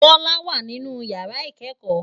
Bola wá ninú iyàrá ikèékò